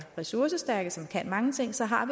ressourcestærke og som kan mange ting så har